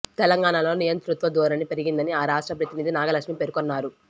తెలంగాణలో నియంతృత్వ ధోరణి పెరిగిందని ఆ రాష్ట్ర ప్రతినిధి నాగలక్ష్మి పేర్కొన్నారు